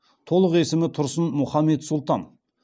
толық есімі тұрсын мүхаммед сұлтан